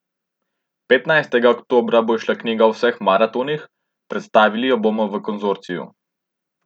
Petnajstega oktobra bo izšla knjiga o vseh maratonih, predstavili jo bomo v Konzorciju.